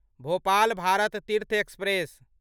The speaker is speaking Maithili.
भोपाल भारत तीर्थ एक्सप्रेस